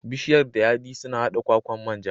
Bishiyar dayadii suna haɗa kwakwan manja.